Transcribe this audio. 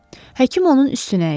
Həkim onun üstünə əyildi.